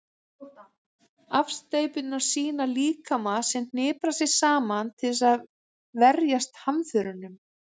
afsteypurnar sýna líkama sem hniprar sig saman til að verjast hamförunum